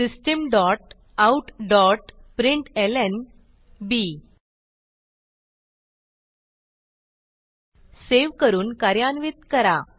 system dot out dot println save करून कार्यान्वित करा